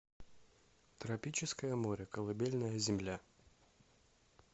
тропическое море колыбельная земля